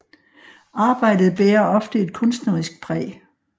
Arbejdet bærer ofte et kunstnerisk præg